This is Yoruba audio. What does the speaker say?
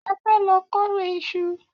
A fẹ́ lọ kórẹ̀ ìṣù.